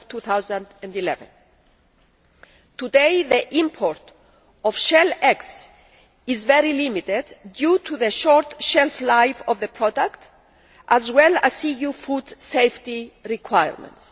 2011. Today, the import of shell eggs is very limited due to the short shelf life of the product as well as EU food safety requirements.